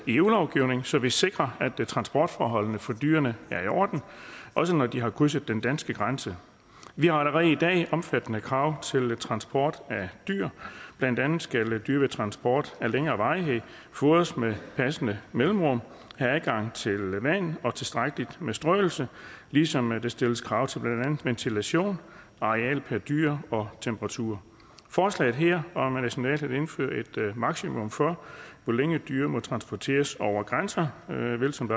eu lovgivning så vi sikrer at transportforholdene for dyrene er i orden også når de har krydset den danske grænse vi har allerede i dag omfattende krav til transport af dyr blandt andet skal dyr ved transport af længere varighed fodres med passende mellemrum have adgang til vand og tilstrækkeligt med strøelse ligesom der stilles krav til blandt andet ventilation areal per dyr og temperatur forslaget her om nationalt at indføre et maksimum for hvor længe dyr må transporteres over grænser vil som